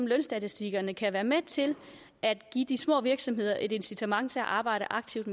lønstatistikkerne kan være med til at give de små virksomheder et incitament til at arbejde aktivt